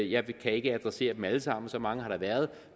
jeg kan ikke adressere dem alle sammen for så mange har der været